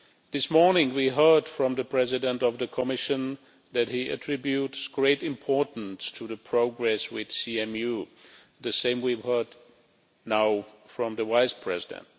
This morning we heard from the President of the Commission that he attributes great importance to the progress with CMU and we have now heard the same from the Vice-President.